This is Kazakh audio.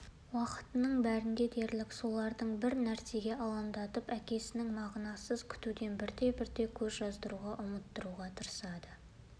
уақыттың бәрінде дерлік соларды бір нәрсеге алдандырып әкесін мағынасыз күтуден бірте-бірте көз жаздыруға ұмыттыруға тырысады